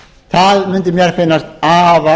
það mundi mér finnast afar